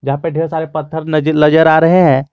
यहां पे ढेर सारे पत्थर नज़र नज़र आ रहे हैं।